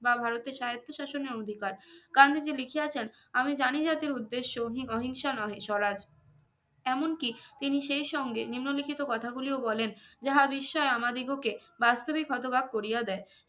বা ভারতের স্বায়ত্তশাসনের অঙ্গীকার গান্ধীজি লিখিয়াছেন আমি জানি জাতি কি উদ্দেশ্য ওহি অহিংসা নহে স্বরাজ এমনকি তিনি সেই সঙ্গে নিম্নলিখিত কোথা গুলিও বলেন যাহা বিস্ময় আমাদিগকে বাস্তবিক হতবাক করিয়া দেয়